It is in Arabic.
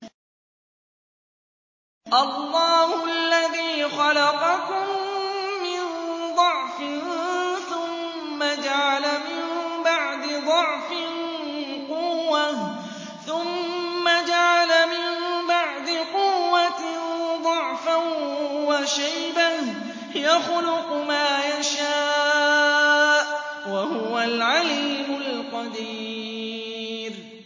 ۞ اللَّهُ الَّذِي خَلَقَكُم مِّن ضَعْفٍ ثُمَّ جَعَلَ مِن بَعْدِ ضَعْفٍ قُوَّةً ثُمَّ جَعَلَ مِن بَعْدِ قُوَّةٍ ضَعْفًا وَشَيْبَةً ۚ يَخْلُقُ مَا يَشَاءُ ۖ وَهُوَ الْعَلِيمُ الْقَدِيرُ